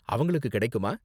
அவங்களுக்கு கிடைக்குமா?